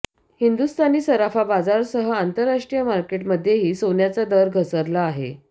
हिंदुस्थानी सराफा बाजारासह आंतरराष्ट्रीय मार्केटमध्येही सोन्याचा दर घसरला आहे